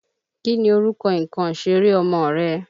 Kí ni orúkọ nkan ìṣéré ọmọ rẹ?